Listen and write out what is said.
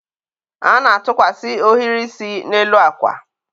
a na-atụkwasị ohiri isi n'elu akwa.